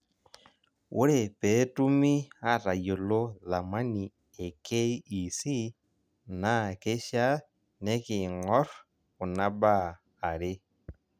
Ore peetumi atayiolo thamani e KEC naa keishaa neking'orr kuna baa are.